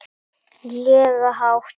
lega hátt.